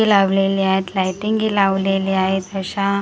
ती लावलेली आहेत लाइटीनगि लावलेल्या आहेत अश्या .